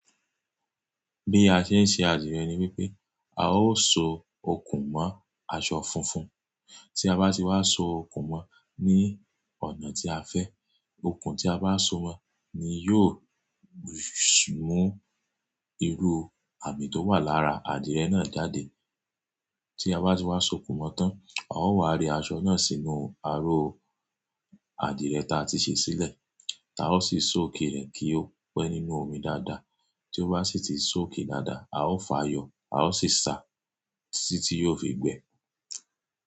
Bí a ṣe ń ṣe adìrẹ ni wípé a ó so okùn mọ́ aṣọ funfun, tí a bá ti wá so okùn mọ́ ní ọ̀nà tí a fẹ́, okùn tí a bá so mọ́ ni yóò mú irú àmì tó wà lára adìrẹ náà jáde. Tí a bá ti wá so okùn mọ́ tán, a ó wá re aṣọ náà sínú aró adìrẹ ta ti ṣe sílẹ̀, táa ó sì soak re kí ó pẹ́ nínú omi dáadáa. Tí ó bá sì ti soak i dáadáa, a ó fààyò, a ó sì sá títí yóò fi gbẹ.